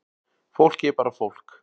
Fólk er bara fólk